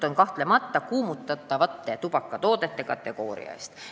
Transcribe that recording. Jutt on kahtlemata kuumutatavate tubakatoodete kategooriast.